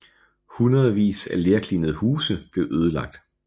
Hundredvis af lerklinede huse blev ødelagt